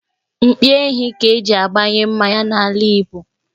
Mpi ehi ka-eji agbanye mmanya n'ala Igbo.